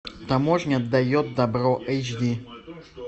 таможня дает добро эйч ди